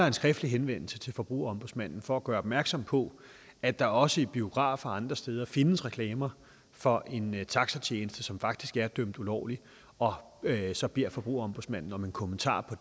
en skriftlig henvendelse til forbrugerombudsmanden for at gøre opmærksom på at der også i biografer og andre steder findes reklamer for en taxatjeneste som faktisk er dømt ulovlig og så beder forbrugerombudsmanden om en kommentar på